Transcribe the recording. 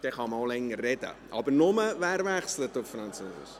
Dann kann man auch länger sprechen, aber nur, wer auf Französisch wechselt!